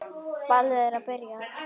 Ballið er byrjað.